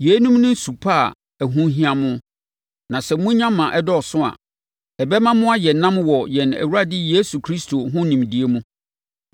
Yeinom ne su pa a ɛho hia mo. Na sɛ monya ma ɛdɔɔso a, ɛbɛma mo ayɛ nnam wɔ yɛn Awurade Yesu Kristo ho nimdeɛ mu.